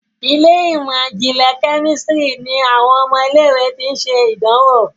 Ilé ìmọ̀n-jinlẹ Kẹ́mísìrì ní àwọn ọmọ ilé ìwé ti. ṣe idanwò.